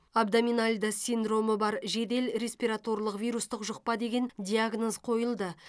абдоминальды синдромы бар жедел респираторлық вирустық жұқпа деген диагноз қойылды